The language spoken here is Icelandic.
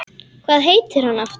Hvað heitir hann aftur?